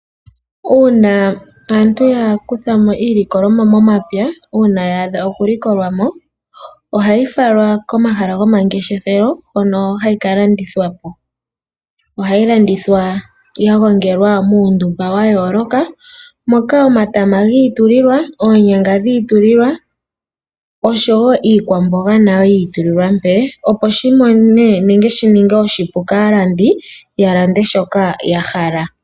Uuna aantu ya kutha mo iilikolomwa momapya ngele ya adha okulikolwa mo, ohayi falwa komahala gomangeshefelo hono hayi kalandithwa po. Ohayi landithwa ya gongelwa muundumba wa yooloka moka omatama, oonyanga oshowo iikwamboga nayo yiitulilwa, opo shi ninge oshipu kaalandi ya lande shoka ya hala.